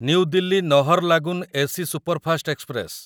new Delhi Naharlagun AC superfast express